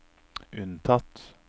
unntatt